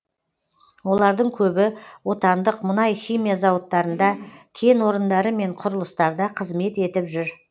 олардың көбі отандық мұнай химия зауыттарында кен орындары мен құрылыстарда қызмет етіп жүр